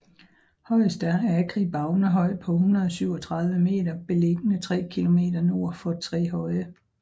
Højest er Agri Baunehøj på 137 meter beliggende 3 km nord for Trehøje